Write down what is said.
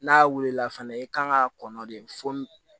N'a wulila fɛnɛ i kan k'a kɔnɔ de fo